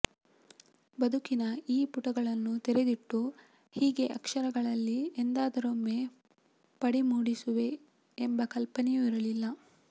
ಬದುಕಿನ ಈ ಪುಟಗಳನ್ನು ತೆರೆದಿಟ್ಟು ಹೀಗೆ ಅಕ್ಷರಗಳಲ್ಲಿ ಎಂದಾದರೊಮ್ಮೆ ಪಡಿ ಮೂಡಿಸುವೆ ಎಂಬ ಕಲ್ಪನೆಯೂ ಇರಲಿಲ್ಲ